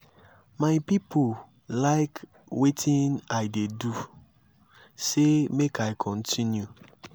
my people like wetin i dey do dey say make i continue.